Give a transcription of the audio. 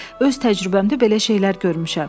Öz təcrübəmdə belə şeylər görmüşəm.